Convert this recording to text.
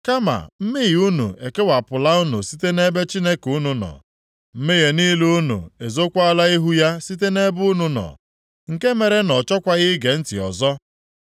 Kama mmehie unu ekewapụla unu site nʼebe Chineke unu nọ; mmehie niile unu ezokwala ihu ya site nʼebe unu nọ, nke mere na ọ chọkwaghị ige ntị ọzọ.